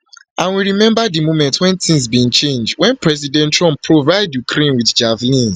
and we remember di moment wen tins bin change wen president trump provide ukraine provide ukraine with javelins